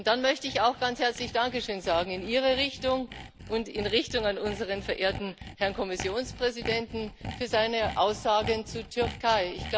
Und dann möchte ich auch ganz herzlich danke schön sagen in Ihre Richtung und in Richtung unseres verehrten Herrn Kommissionspräsidenten für seine Aussagen zur Türkei.